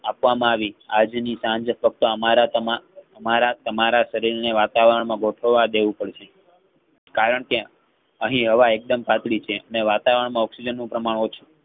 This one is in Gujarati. આપવામાં આવી આજની સાંજે ફક્ત અમારા તમા~અમારા તમારા કરીને વાતાવરણ ને ગોઠવવા દેવું પડશે કારણ કે અહીં હવા એકદમ પાતળી છે અને વાતાવરણ માં oxygen નું પ્રમાણ ઓછું